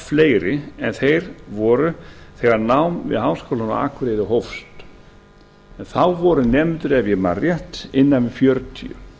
fleiri en þeir voru þegar nám við háskólann á akureyri hófst en þá voru nemendur ef ég man rétt innan við fjörutíu